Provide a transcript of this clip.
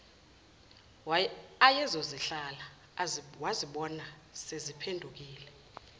ayezozihlala wazibona seziphenduke